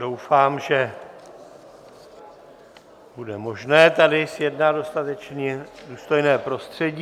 Doufám, že bude možné tady zjednat dostatečně důstojné prostředí.